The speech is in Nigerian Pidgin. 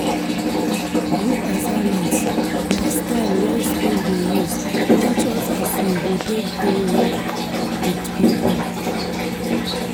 Group assignment na style wey school dey use teach us as we go take dey work with people.